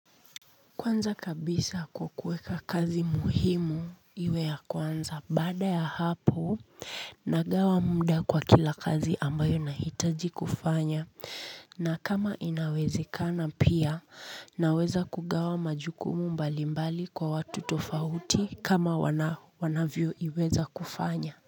Kwanza kabisa kukueka kazi muhimu iwe ya kwanza baada ya hapo nagawa muda kwa kila kazi ambayo nahitaji kufanya na kama inawezekana pia naweza kugawa majukumu mbalimbali kwa watu tofauti kama wanavyo iweza kufanya.